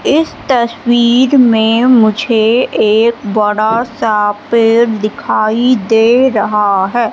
इस तस्वीर में मुझे एक बड़ा सा पेड़ दिखाई दे रहा है।